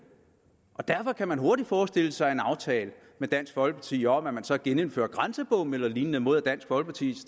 og derfor kan man hurtigt forestille sig en aftale med dansk folkeparti om at man så genindfører grænsebomme eller lignende mod at dansk folkeparti